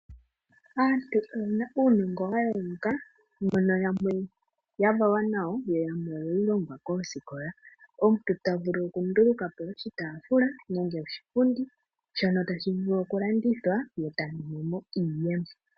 Aantu oye na uunongo wa yooloka, mbono yamwe ya valwa nawo yo yamwe oyewu longwa koosikola. Omuntu ta vulu okunduluka po oshitaafula nenge oshipundi shono tashi vulu okulandithwa ye ta mono mo iiyemo.